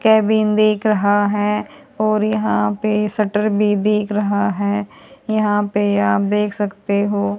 Cabin देख रहा है और यहां पे सटर भी दिख रहा है यहां पे आप देख सकते हो।